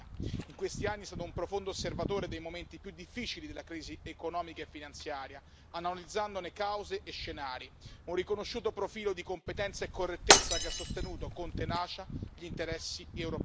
In questi anni è stato un profondo osservatore dei momenti più difficili della crisi economica e finanziaria, analizzandone cause e scenari, un riconosciuto profilo di competenza e correttezza che ha sostenuto con tenacia gli interessi europei.